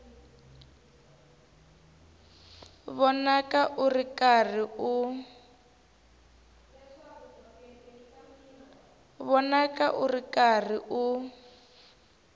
vonaka u ri karhi u